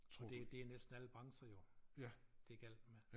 Og det det næsten alle brancher jo det galt med